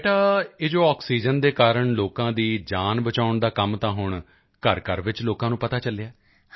ਤਾਂ ਬੇਟਾ ਇਹ ਜੋ ਆਕਸੀਜਨ ਦੇ ਕਾਰਨ ਲੋਕਾਂ ਦੀ ਜਾਨ ਬਚਾਉਣ ਦਾ ਕੰਮ ਤਾਂ ਹੁਣ ਘਰਘਰ ਵਿੱਚ ਲੋਕਾਂ ਨੂੰ ਪਤਾ ਚੱਲਿਆ ਹੈ